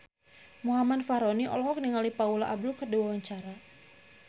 Muhammad Fachroni olohok ningali Paula Abdul keur diwawancara